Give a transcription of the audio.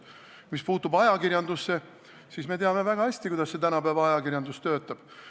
Mis puutub ajakirjandusse, siis me teame väga hästi, kuidas see tänapäeva ajakirjandus töötab.